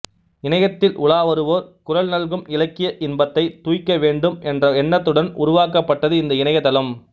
இணையத்தில் உலா வருவோர் குறள் நல்கும் இலக்கிய இன்பத்தைத் துய்க்க வேண்டும் என்ற எண்ணத்துடன் உருவாக்கப்பட்டது இந்த இணையதளம்